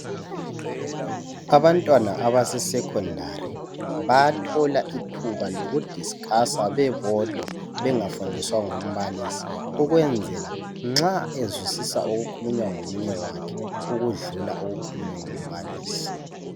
Abantwana abaseSecondary bayathola ithuba lokudiscusa bebodwa bengafundiswa ngumbalisi ukwenzela nxa ezwisisa okukhulunywa ngomunye wakhe ukudlula okukhulunywe ngumbalisi.